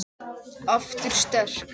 Aftur sterk.